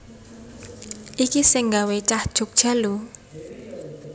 Iki sing nggawe cah Jogja lho